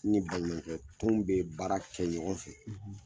Ni n balimakɛ tun be baara kɛ ɲɔgɔn fɛ